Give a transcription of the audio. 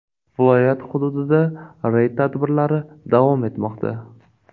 Viloyat hududida reyd tadbirlari davom etmoqda.